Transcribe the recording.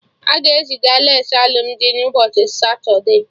Aga eziga lace alụmdi na ụbọchị satude